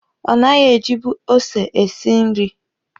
Ọ naghị ejibu ose esi nri.